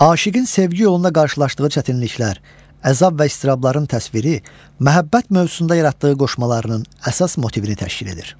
Aşığın sevgi yolunda qarşılaşdığı çətinliklər, əzab və iztirabların təsviri, məhəbbət mövzusunda yaratdığı qoşmalarının əsas motivini təşkil edir.